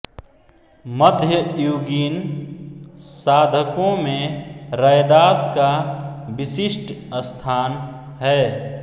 मध्ययुगीन साधकों में रैदास का विशिष्ट स्थान है